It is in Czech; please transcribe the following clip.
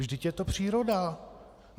Vždyť je to příroda!